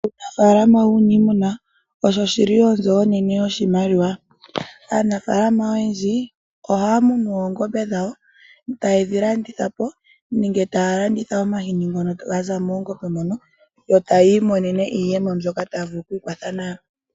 Aanafaalama yuunimuma osho shili onzo onene yoshimaliwa . Aanafaalama oyendji ohaa munu oongombe dhawo, tayedhilandithapo nenge taa landitha omahini ngono gaza moongombe mono. Ohaya imonene iiyemo mbyoka taya vulu okwiikwatha nayo.